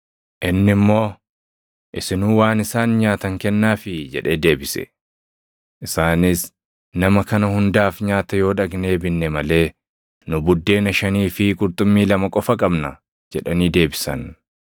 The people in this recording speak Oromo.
Inni immoo, “Isinuu waan isaan nyaatan kennaafii” jedhee deebise. Isaanis, “Nama kana hundaaf nyaata yoo dhaqnee binne malee nu buddeena shanii fi qurxummii lama qofa qabna” jedhanii deebisan.